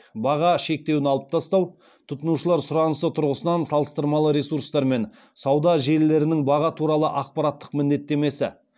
тұтынушылар сұранысы тұрғысынан салыстырмалы ресурстар мен сауда желілерінің баға туралы ақпараттық міндеттемесі